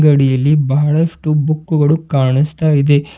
ಕಡಿಯಲ್ಲಿ ಬಹಳಷ್ಟು ಬುಕ್ಕುಗಳು ಕಾಣಸ್ತಾ ಇದೆ.